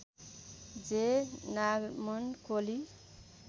जे नॉरमन कोली